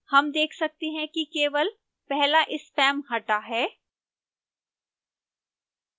हम देख सकते हैं कि केवल पहला spam हटा है